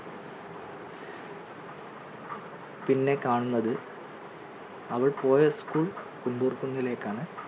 പിന്നെ കാണുന്നത് അവൾ പോയ school കുണ്ടൂർ കുന്നിലേക്കാണ്